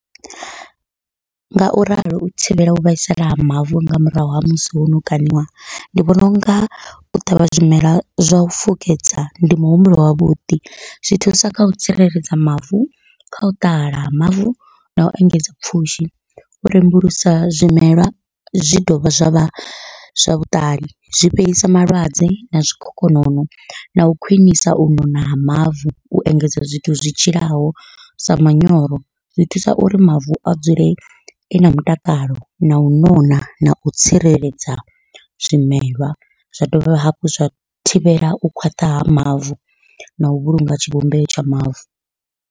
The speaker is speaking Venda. Ngauralo u thivhela u vhaisala ha mavu nga murahu ha musi hono kaṋiwa, ndi vhona unga u ṱavha zwimela zwa u fukedza ndi muhumbulo wavhuḓi, zwi thusa kha u tsireledza mavu kha u ṱahala ha mavu nau engedza pfhushi, u rembulusa zwimela zwi dovha zwa vha zwa vhuṱali zwi fhelisa malwadze na zwikhokhonono nau khwiṋisa u nona ha mavu. U engedza zwithu zwi tshilaho sa manyoro zwi thusa uri mavu a dzule e na mutakalo, nau nona nau tsireledza zwimelwa zwa dovha hafhu zwa thivhela u khwaṱha ha mavu, nau vhulunga tshivhumbeo tsha mavu.